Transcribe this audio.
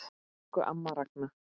Elsku amma Ragna.